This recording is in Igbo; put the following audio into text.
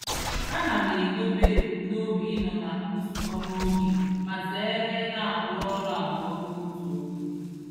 Ana m edobe ebumnobi ịnọ na nzukọ n'oge ma zeere I na-arụ ọrụ abụọ n'otu oge.